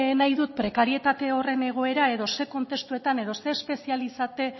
izan nahi dut prekarietate horren egoera edo ze testuinguruetan edo ze